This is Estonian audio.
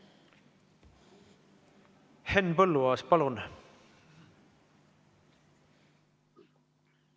Henn Põlluaas, palun!